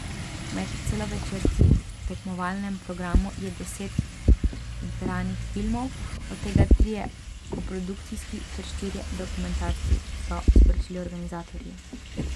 Med celovečerci v tekmovalnem programu je deset igranih filmov, od tega trije koprodukcijski, ter štirje dokumentarci, so sporočili organizatorji.